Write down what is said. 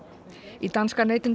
í danska